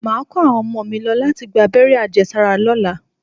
Màá kó àwọn ọmọ mi lọ láti gba abẹ́rẹ́ àjẹsára lọ́la